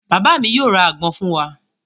Bàbá mi yóò ra àgbọn fún wa.